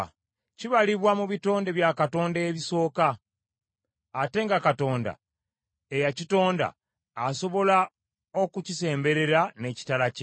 Kibalibwa mu bitonde bya Katonda ebisooka, ate nga Katonda eyakitonda asobola okukisemberera n’ekitala kye.